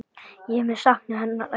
Ég mun sakna hennar ætíð.